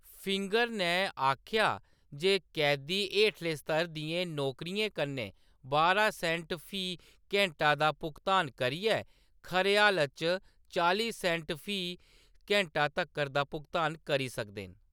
Finger नै आखेआ जे कैदी हेठले स्तर दियें नौकरियें कन्नै बारां सेंट फी घैंटा दा भुगतान करियै खरे हलात च चाली सेंट फी घैंटा तक्कर दा भुगतान करी सकदे न।